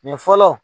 Nin fɔlɔ